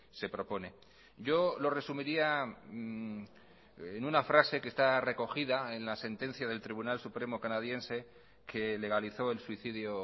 se propone yo lo resumiría en una frase que está recogida en la sentencia del tribunal supremo canadiense que legalizó el suicidio